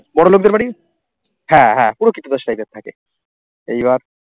বড়োলোকদের বাড়ি হ্যাঁ হ্যাঁ পুরো কৃতদাস type এর থাকে, এইবার